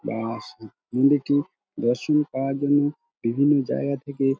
বা স অ মন্দিরটি দর্শন করার জন্য বিভিন্ন জায়গা থেকে--